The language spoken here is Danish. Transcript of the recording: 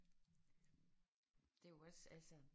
Det er jo også altså